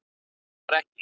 En svo var ekki.